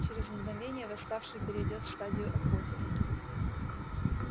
через мгновение восставший перейдёт в стадию охоты